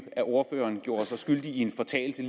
gjorde sig skyldig i en fortalelse